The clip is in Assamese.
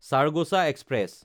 চাৰগোজা এক্সপ্ৰেছ